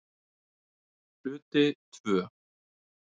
Hluti II